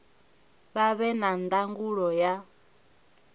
vha vhe na ndangulo ya